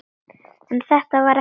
En þetta var ekki nóg.